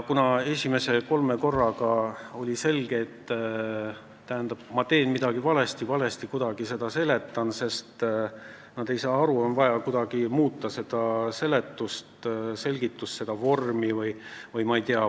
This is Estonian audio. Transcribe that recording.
Kuna esimese kolme korraga oli selge, et ma tegin midagi valesti, seletasin seda kuidagi valesti, sest nad ei saanud aru, siis oli vaja selgitust või vormi muuta.